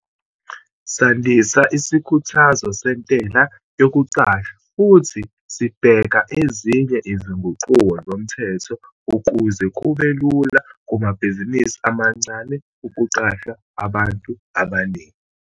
Sandisa isikhuthazo sentela yokuqasha futhi sibheka ezinye izinguquko zomthetho ukuze kube lula kumabhizinisi amancane ukuqasha abantu abaningi.